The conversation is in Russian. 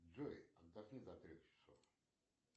джой отдохни до трех часов